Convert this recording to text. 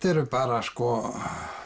eru bara sko